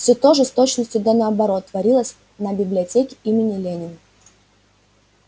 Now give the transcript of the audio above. всё то же с точностью до наоборот творилось на библиотеке имени ленина